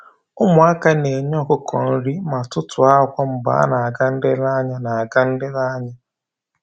Ụmụ aka na-enye ọkụkọ nri ma tụtụọ akwa mgbe a na-aga nlereanya na-aga nlereanya